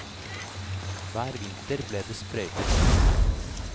Hver vinter ble det sprøytet is.